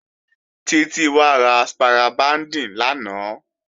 Títí wá ra spira bíǹdì lánàá.